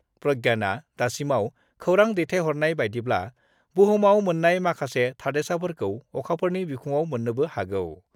प्रज्ञानआ दासिमाव खौरां दैथायहरनाय बायदिब्ला, बुहुमाव मोन्नाय माखासे थादेरसाफोरखौ अखाफोरनि बिखुङाव मोन्नोबो हागौ।